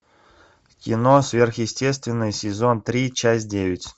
кино сверхъестественное сезон три часть девять